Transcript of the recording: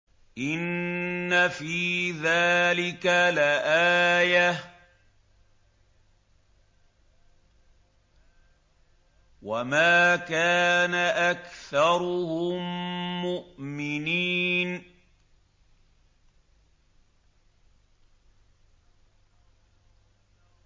إِنَّ فِي ذَٰلِكَ لَآيَةً ۖ وَمَا كَانَ أَكْثَرُهُم مُّؤْمِنِينَ